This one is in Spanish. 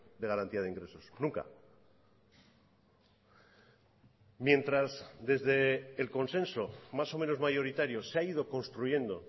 de garantía de ingresos nunca mientras desde el consenso más o menos mayoritario se ha ido construyendo